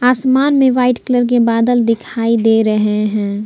आसमान में white colour के बादल दिखाई दे रहे हैं।